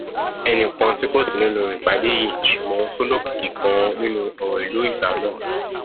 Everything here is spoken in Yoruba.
ẹnì kan tí kò sí nínú ìpàdé yìí ṣùgbọn tó lókìkí ganan nínú ọrọ ìlú ìgbà náà h